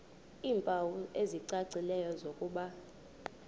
iimpawu ezicacileyo zokuba